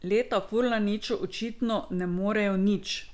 Leta Furlaniču očitno ne morejo nič!